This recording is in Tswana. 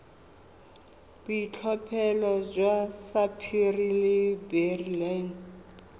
boitlhophelo jwa sapphire le beryl